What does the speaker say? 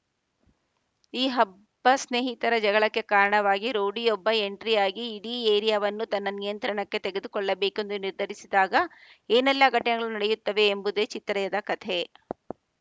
ಈ ಹಬ್ಬ ಸ್ನೇಹಿತರ ಜಗಳಕ್ಕೆ ಕಾರಣವಾಗಿ ರೌಡಿಯೊಬ್ಬ ಎಂಟ್ರಿ ಆಗಿ ಇಡೀ ಏರಿಯಾವನ್ನು ತನ್ನ ನಿಯಂತ್ರಣಕ್ಕೆ ತೆಗೆದುಕೊಳ್ಳಬೇಕೆಂದು ನಿರ್ಧರಿಸಿದಾಗ ಏನೆಲ್ಲ ಘಟನೆಗಳು ನಡೆಯುತ್ತವೆ ಎಂಬುದೇ ಚಿತ್ರದ ಕತೆ